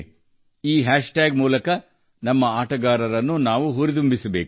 ಈ ಹ್ಯಾಶ್ಟ್ಯಾಗ್ ಮೂಲಕ ನಾವು ನಮ್ಮ ಆಟಗಾರರನ್ನು ಹುರಿದುಂಬಿಸಬೇಕು